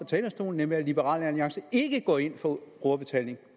talerstolen nemlig at liberal alliance ikke går ind for brugerbetaling